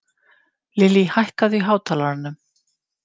Lilly, hækkaðu í hátalaranum.